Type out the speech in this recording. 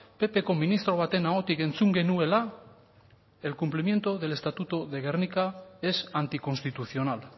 ppko ministro baten ahotik entzun genuela el cumplimiento del estatuto de gernika es anticonstitucional